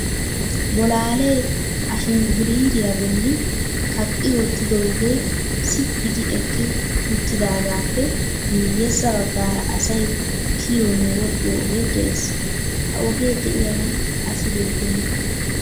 Bolaale ashingguliriyaa bolli kaqqi wottidooge sitti gi eqqi uttidaagappe miyyesa baggara asay kiyyiyonne wodhdhiyo ogee de'ees. Ha ogee de'iyaagan asi beettena.